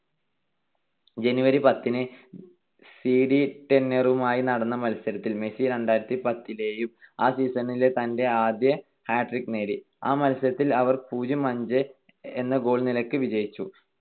January പത്തിന് C D ടെനറിഫുമായി നടന്ന മത്സരത്തിൽ മെസ്സി രണ്ടായിരത്തിപത്തിലെയും ആ season തന്റെ ആദ്യ hat trick നേടി. ആ മത്സരത്തിൽ അവർ പൂജ്യം - അഞ്ച് എന്ന goal നിലക്ക് വിജയിച്ചു.